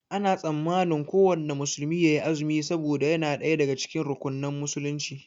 Ana tsammanin kuwanna musulmi yayi azumi saboda yana ɗaya daga cikin rukunan musulunci